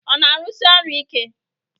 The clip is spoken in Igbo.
Ọ na-arụsi orụ ike?